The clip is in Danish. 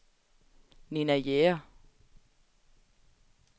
Nina Jæger